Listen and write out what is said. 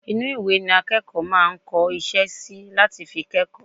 inú ìwé ni akẹ́kọ̀ọ́ máa ń kọ iṣẹ́ sí láti fi kẹ́kọ̀ọ́